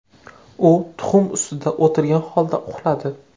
U tuxum ustida o‘tirgan holda uxladi.